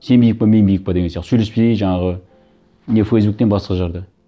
сен биік пе мен биік пе деген сияқты сөйлеспей жаңағы не фейсбуктен басқа жерде